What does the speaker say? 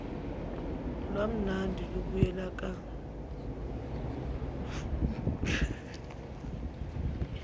lwamanani luyobuyekezwa nsukuzonke